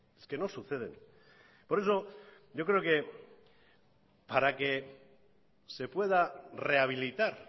es que no suceden por eso yo creo que para que se pueda rehabilitar